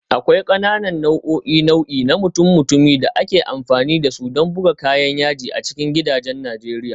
Akwai ƙananan nau'o'in nau'i na mutum-mutumi da ake amfani da su don bugun kayan yaji a cikin gidajen Najeriya